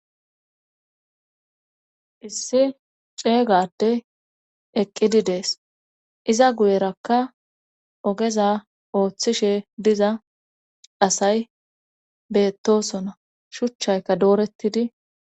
issi ceeygade eqqidi dees iza guyerakka ogeza ooththishe diza asay beettosona shuchchaykka doorettidi